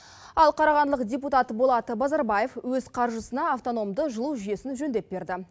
ал қарағандылық депутат болат базарбаев өз қаржысына автономды жылу жүйесін жөндеп берді